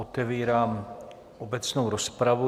Otevírám obecnou rozpravu.